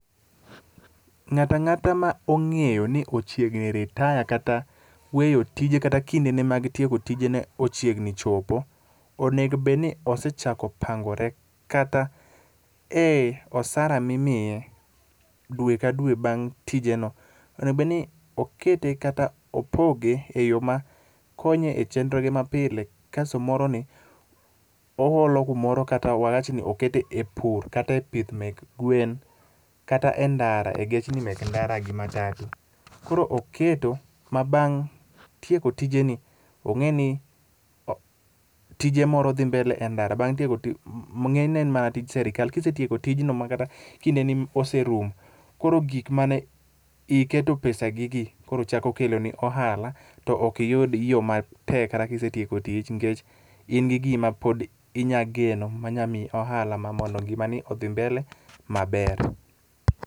Ng'ata ng'ata ma ong'eyo ni ochiegni retire kata weyo tije kata kindene mag tieko tijene ochiegni chopo, onego obed ni osechako pangore kata osara mimiye dwe ka dwe bang' tijeno, onego obedni okete kata opoge e yo ma konye e chenroge mapile kasto moroni, oholo kumoro kata wawach ni oketo e pur kata e pith mek gwen, kata e ndara e gechni mek ndara gi matatu. Koro oketo ma bang' tieko tijeni, ong'eni ,tije moko dhi mbele e ndara, bang' tieko tich, ng'enyne en mar srikal. Kisetieko tijno ma kata kindeni oserumo, koro gik mane iketo pesagi gi koro chako keloni ohala ,to ok iyud yo matek kata kisetieko tich nikech in gi giri mapod inya geno manya miyi ohala mamalo, ngimani odhi mbele maber.